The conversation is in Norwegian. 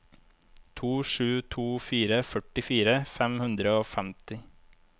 to sju to fire førtifire fem hundre og femti